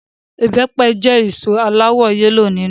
Ìbẹpẹ jẹ́ èso aláwọ yẹ́lò nínú